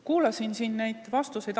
Kuulasin siin neid vastuseid.